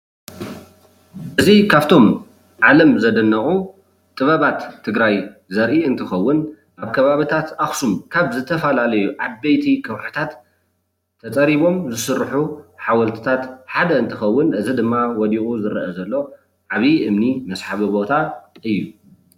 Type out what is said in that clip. እዚ ካብቶም ዓለም ዘደነቁ ጥበባት ትግራይ ዘርኢ እንትከውን ኣብ ከባቢታት ኣክሱም ካብ ዝተፈላለዩ ዓበይቲ ከውሕታት ተፀሪቦም ዝስርሑ ሓወልትታት ሓደ እንትከውን እዚ ድማ ወዲቁ ዝረአ ዘሎ ዓብይ እምኒ መስሓቢ ቦታ እዩ፡፡